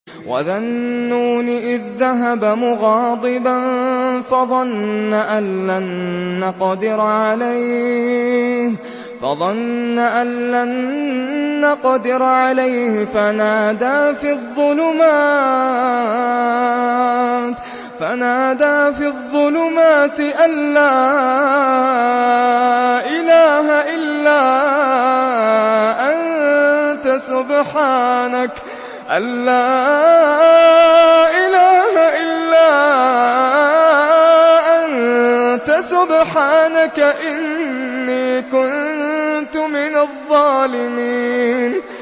وَذَا النُّونِ إِذ ذَّهَبَ مُغَاضِبًا فَظَنَّ أَن لَّن نَّقْدِرَ عَلَيْهِ فَنَادَىٰ فِي الظُّلُمَاتِ أَن لَّا إِلَٰهَ إِلَّا أَنتَ سُبْحَانَكَ إِنِّي كُنتُ مِنَ الظَّالِمِينَ